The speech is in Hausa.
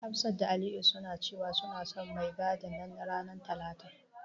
Hafsa da Aliyu suna cewa, suna son mai gadin nan ranar talata.